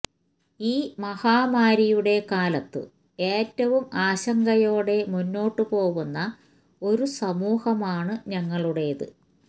ഈ മഹാമാരിയുടെ കാലത്തു ഏറ്റവും ആശങ്കയോടെ മുന്നോട്ട് പോവുന്ന ഒരു സമൂഹമാണ് ഞങ്ങളുടേത്